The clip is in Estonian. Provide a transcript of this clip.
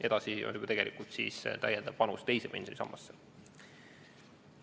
Edasi on juba tegelikult siis täiendav panus teise pensionisambasse.